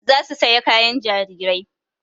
Za su saya kayan jariri